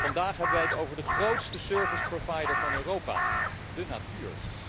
Vandaag hebben wij het over de grootste service provider van Europa, de natuur!